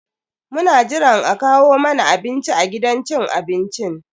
Muna jiran a kawo mana abinci a gidan cin abincin.